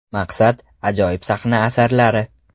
Maqsad – ajoyib sahna asarlari.